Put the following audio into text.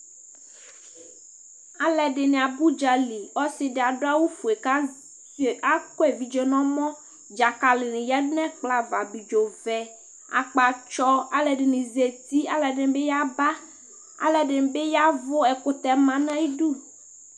aloɛdini aba udzali ɔse di ado awu fue k'azɛ k'akɔ evidze n'ɔmɔ dzakali di yadu n'ɛkplɔ ava abidzo vɛ akpatsɔ aloɛdini zati aloɛdini bi yaba aloɛdini bi yavu ɛkutɛ ma n'ayidu